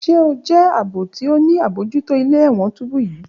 Ṣe o jẹ aabo ti o ni abojuto ile-ẹwọn tubu yii?